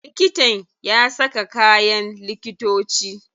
Likitan ya saka kayan likitoci.